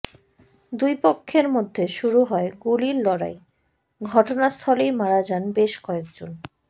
দুই পক্ষের মধ্যে শুরু হয গুলির লড়াই ঘটনাস্থলেই মারা যান বেশ কয়েকজন